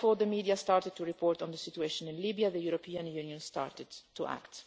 Well before the media started to report on the situation in Libya, the European Union started to act.